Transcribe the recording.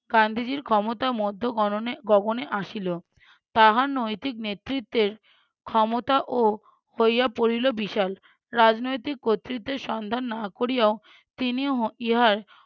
গান্ধীজীর ক্ষমতা মধ্য গননে~ গগনে আসিল। তাহার নৈতিক নেতৃত্বের ক্ষমতাও হইয়া পড়িল বিশাল। রাজনৈতিক কর্তৃত্বের সন্ধান না করিয়াও তিনি ই~ ইহার